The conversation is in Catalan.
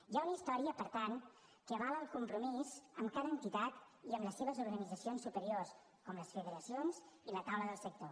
hi ha una història per tant que avala el compromís amb cada entitat i amb les seves organitzacions superiors com les federacions i la taula del sector